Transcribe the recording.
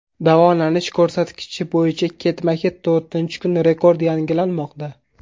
Davolanish ko‘rsatkichi bo‘yicha ketma-ket to‘rtinchi kun rekord yangilanmoqda.